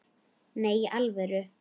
Nei, í alvöru